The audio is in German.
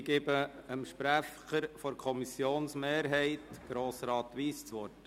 Ich gebe dem Sprecher der Kommissionsmehrheit, Grossrat Wyss das Wort.